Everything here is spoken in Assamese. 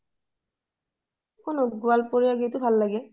শুনু গ'লপোৰিয়া গীতও ভাল লাগে ?